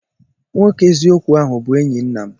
Nwoke eziokwu ahu bụ enyi nna m.